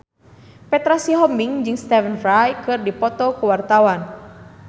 Petra Sihombing jeung Stephen Fry keur dipoto ku wartawan